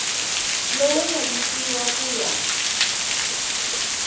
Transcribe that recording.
lowu nga nyikiwa ku ya